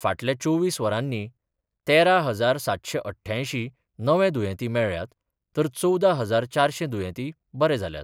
फाटल्या चोवीस वरांनी तेरा हजार सातशे अठ्ठ्यांयशीं नवे दुयेंती मेळ्ळ्यात तर चवदा हजार चारशे दुयेंती बरे जाल्यात.